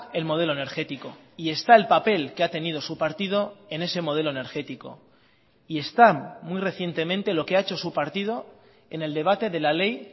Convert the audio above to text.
el modelo energético y está el papel que ha tenido su partido en ese modelo energético y están muy recientemente lo que ha hecho su partido en el debate de la ley